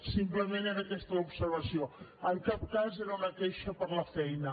simplement era aquesta l’observació en cap cas era una queixa per la feina